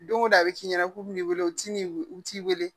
Don go don a bi f'i ɲɛna k'u mi n'i wele u ti u t'i weele